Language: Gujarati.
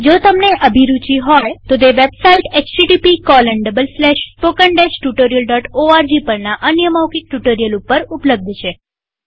જો તમને અભિરુચિ હોય તોતે વેબસાઈટ httpspoken tutorialorg પરના અન્ય મૌખિક ટ્યુ્ટોરીઅલ ઉપર ઉપલબ્ધ છે